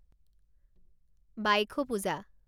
Baikho Puja